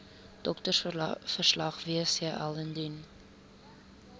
doktersverslag wcl indien